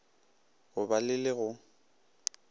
go ba le le go